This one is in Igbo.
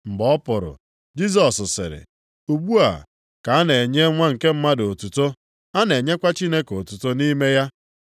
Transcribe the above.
Mgbe ọ pụrụ, Jisọs sịrị, “Ugbu a ka a na-enye Nwa nke Mmadụ otuto, a na-enyekwa Chineke otuto nʼime ya.